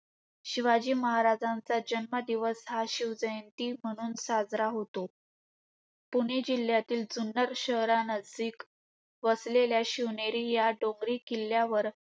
शिवाजी महाराजांचा जन्म हा दिवस शिवजयंती म्हणून साजरा होतो. पुणे जिल्ह्यातील जुन्नर शहरानजदीक वसलेल्या शिवनेरी या डोंगरी किल्ल्यावर